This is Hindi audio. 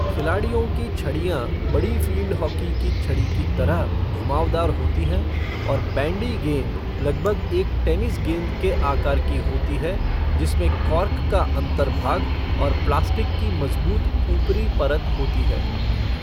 खिलाड़ियों की छड़ियाँ बड़ी फ़ील्ड हॉकी की छड़ी की तरह घुमावदार होती हैं और बैंडी गेंद लगभग एक टेनिस गेंद के आकार की होती है जिसमें कॉर्क का अन्तर्भाग और प्लास्टिक की मज़बूत ऊपरी परत होती है।